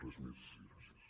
res més i gràcies